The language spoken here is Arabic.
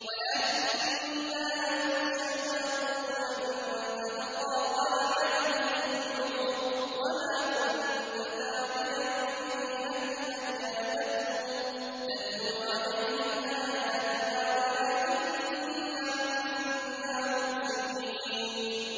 وَلَٰكِنَّا أَنشَأْنَا قُرُونًا فَتَطَاوَلَ عَلَيْهِمُ الْعُمُرُ ۚ وَمَا كُنتَ ثَاوِيًا فِي أَهْلِ مَدْيَنَ تَتْلُو عَلَيْهِمْ آيَاتِنَا وَلَٰكِنَّا كُنَّا مُرْسِلِينَ